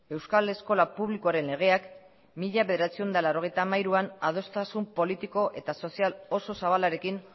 euskal eskola publikoaren legeak mila bederatziehun eta laurogeita hamairuan adostasun politiko eta sozial oso zabalarekin